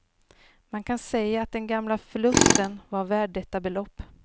Man kan säga att den gamla förlusten var värd detta belopp.